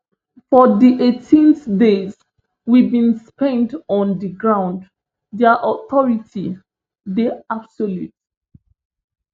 for di eighteen days we bin spend on di ground dia authority dey absolute